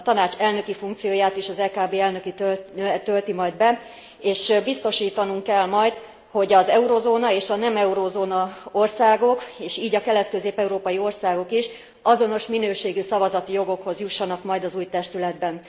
A Tanács elnöki funkcióját is az EKB elnöke tölti majd be, és biztosítanunk kell majd, hogy az eurózóna és a nem eurózóna országok és így a kelet közép európai országok is azonos minőségű szavazati jogokhoz jussanak majd az új testületben.